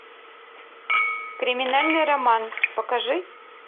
криминальный роман покажи